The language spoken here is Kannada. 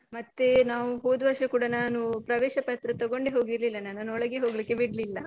ಮತ್ತೆ ನಾವು ಹೋದ್ವರ್ಷ ಕೂಡ ನಾನು ಪ್ರವೇಶ ಪತ್ರ ತಗೊಂಡೆ ಹೋಗಿರ್ಲಿಲ್ಲ ನಾನು ನನ್ನ ಒಳ್ಳೆಗೆ ಹೋಗ್ಲಿಕ್ಕೆ ಬಿಡ್ಲಿಲ್ಲ.